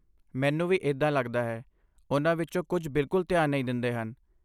ਮੈਨੂੰ ਵੀ ਇੱਦਾਂ ਲੱਗਦਾ ਹੈ, ਉਨ੍ਹਾਂ ਵਿੱਚੋਂ ਕੁਝ ਬਿਲਕੁਲ ਧਿਆਨ ਨਹੀਂ ਦਿੰਦੇ ਹਨ।